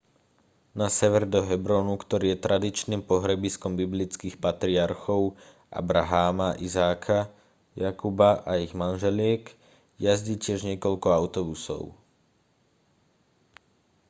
na sever do hebronu ktorý je tradičným pohrebiskom biblických patriarchov abraháma izáka jakuba a ich manželiek jazdí tiež niekoľko autobusov